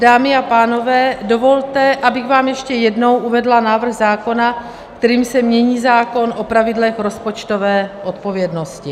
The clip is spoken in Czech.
Dámy a pánové, dovolte, abych vám ještě jednou uvedla návrh zákona, kterým se mění zákon o pravidlech rozpočtové odpovědnosti.